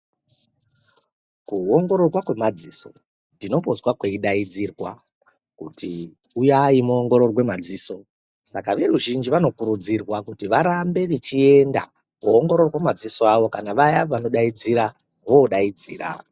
Kuongororwa kwemadziso ndinombozwa kweidaidzirwa kuti uyai muongororwe madziso ,saka veruzhinji vanokurudzirwa kuti varambe vechienda koongororwa madziso awo kana vaya vanoidaidzira vodaidzira.